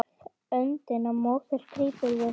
Öndina móðir grípum við.